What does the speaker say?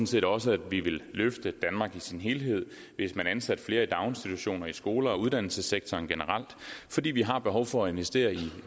set også at vi ville løfte danmark i sin helhed hvis man ansatte flere i daginstitutioner i skoler og i uddannelsessektoren generelt fordi vi har behov for at investere i